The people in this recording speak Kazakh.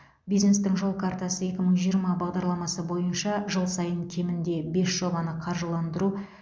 бизнестің жол картасы екі мың жиырма бес бағдарламасы бойынша жыл сайын кемінде бес жобаны қаржыландыру